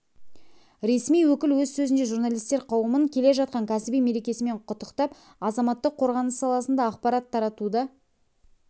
ресми өкіл өз сөзінде журналистер қауымын келе жатқан кәсіби мерекесімен құттықтап азаматтық қорғаныс саласында ақпарат таратуда